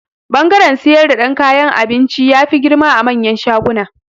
Bangaren siyar dan kayan abinci, ya fi girma a manyan shaguna.